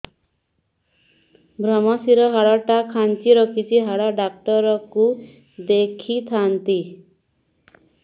ଵ୍ରମଶିର ହାଡ଼ ଟା ଖାନ୍ଚି ରଖିଛି ହାଡ଼ ଡାକ୍ତର କୁ ଦେଖିଥାନ୍ତି